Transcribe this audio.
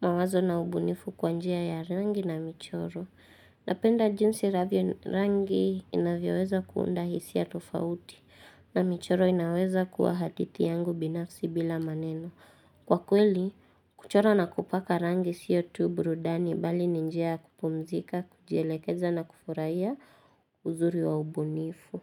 mawazo na ubunifu kwa njia ya rangi na michoro. Napenda jinsi rangi inavyoweza kuunda hisia tofauti na michoro inaweza kuwa hadithi yangu binafsi bila maneno. Kwa kweli, kuchora na kupaka rangi siyo tu burudani bali ni njia ya kupumzika, kujilekeza na kufurahia uzuri wa ubunifu.